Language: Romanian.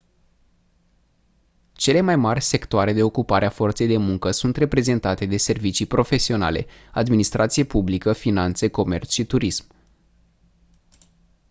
cele mai mari sectoare de ocupare a forței de muncă sunt reprezentate de servicii profesionale administrație publică finanțe comerț și turism